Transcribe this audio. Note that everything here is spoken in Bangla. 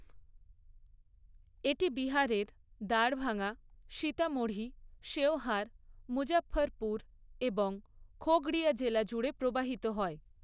এটি বিহারের দ্বারভাঙা, সীতামঢ়ী, শেওহার, মুজফ্ফরপুর এবং খগড়িয়া জেলা জুড়ে প্রবাহিত হয়।